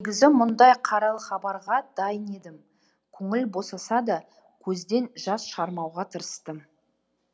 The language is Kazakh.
негізі мұндай қаралы хабарға дайын едім көңіл босаса да көзден жас шығармауға тырыстым